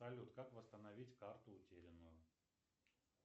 салют как восстановить карту утерянную